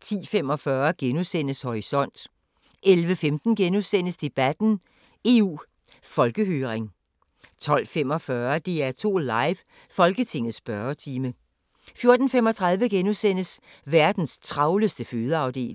10:45: Horisont * 11:15: Debatten: EU Folkehøring * 12:45: DR2 Live: Folketingets spørgetime 14:35: Verdens travleste fødeafdeling *